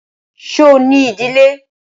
Ṣo ní ìdílé?